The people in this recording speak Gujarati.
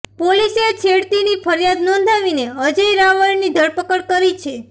પોલીસે છેડતીની ફરિયાદ નોંધાવીને અજય રાવળની ધરપકડ કરી છે